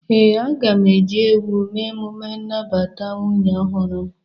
Ee, aga m eji ewu eme emume nnabata nwunye ọhụrụ m.